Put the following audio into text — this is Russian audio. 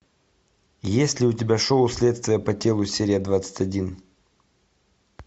есть ли у тебя шоу следствие по телу серия двадцать один